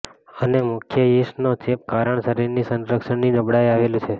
અને મુખ્ય યીસ્ટનો ચેપ કારણ શરીરની સંરક્ષણ ની નબળાઇ આવેલું છે